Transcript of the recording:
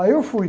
Aí eu fui.